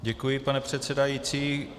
Děkuji, pane předsedající.